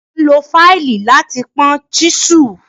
À n lọ faílì lati pọn chísù.